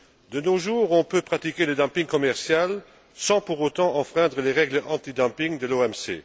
De nos jours, on peut pratiquer le dumping commercial sans pour autant enfreindre les règles antidumping de l'OMC.